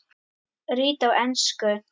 Rit á ensku